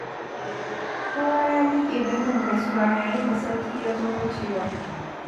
Kowa ya miƙe don yin gaisuwa, yayin da Sarki ya zo hucewa.